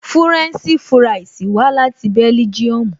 Fúrẹ́ǹṣì fúráìsì wá láti bẹ́lígíọmù